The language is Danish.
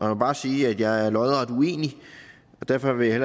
mig bare sige at jeg er lodret uenig og derfor vil jeg